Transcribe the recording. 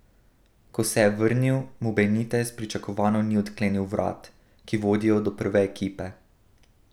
Ko se je vrnil, mu Benitez pričakovano ni odklenil vrat, ki vodijo do prve ekipe.